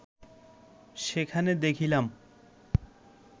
সেখানে দেখিলাম